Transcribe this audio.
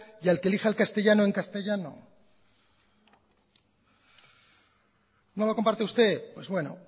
y al que elija el castellano en castellano no lo comparte usted pues bueno